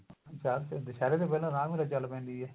ਦਸ ਦਿਨ ਦੁਸਹਿਰੇ ਤੋਂ ਪਹਿਲਾਂ ਰਾਮਲੀਲਾ ਚੱਲ ਪੈਂਦੀ ਏ